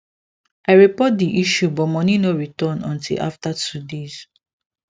i report the issue but money no return until after two days